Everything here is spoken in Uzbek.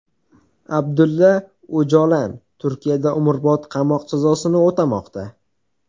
Abdulla O‘jolan Turkiyada umrbod qamoq jazosini o‘tamoqda.